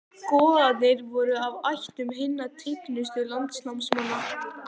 Goðarnir voru af ættum hinna tignustu landnámsmanna.